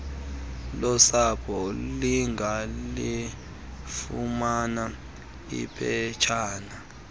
losapho lingalifumana iphetshan